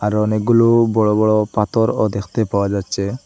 আরো অনেকগুলু বড় বড় পাথরও দেখতে পাওয়া যাচ্চে।